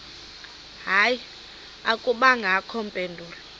hayi akubangakho mpendulo